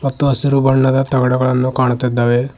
ಮತ್ತು ಹಸಿರು ಬಣ್ಣದ ತಗಡಗಳನ್ನು ಕಾಣುತ್ತಿದ್ದಾವೆ.